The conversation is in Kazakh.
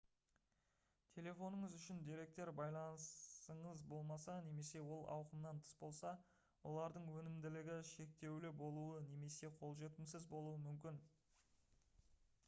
телефоныңыз үшін деректер байланысыңыз болмаса немесе ол ауқымнан тыс болса олардың өнімділігі шектеулі болуы немесе қолжетімсіз болуы мүмкін